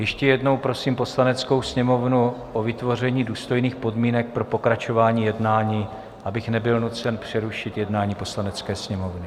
Ještě jednou prosím Poslaneckou sněmovnu o vytvoření důstojných podmínek pro pokračování jednání, abych nebyl nucen přerušit jednání Poslanecké sněmovny.